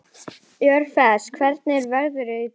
Orfeus, hvernig er veðrið í dag?